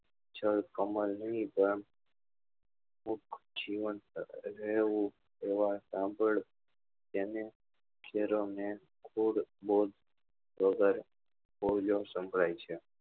સંભળાય છે